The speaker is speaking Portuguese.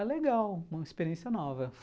Ah, legal, uma experiência nova.